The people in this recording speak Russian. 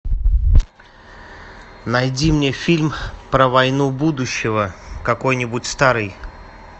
найди мне фильм про войну будущего какой нибудь старый